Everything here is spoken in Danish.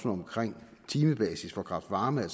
omkring timebasis for kraft varme er